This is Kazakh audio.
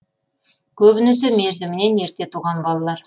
көбінесе мерзімінен ерте туған балалар